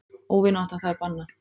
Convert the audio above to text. Óvinátta það er bannað.